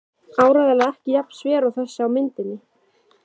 Áreiðanlega ekki jafn sver og þessi á myndinni.